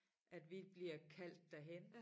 At vi bliver kaldt derhen